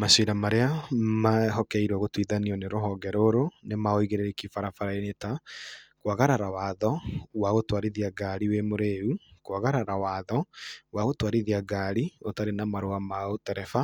Macira marĩa mehokeirwo gũtua nĩ rũhonge rũrũ nĩ ma ũigĩrĩrĩki barabara-inĩ ta kwagarara watho wa gũtwarithia ngari wĩ mũrĩu, kwagarara watho wa gũtwarithia ngari ũtarĩ na marũa ma ũtereba,